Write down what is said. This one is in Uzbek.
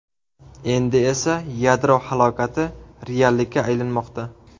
Endi esa yadro halokati reallikka aylanmoqda.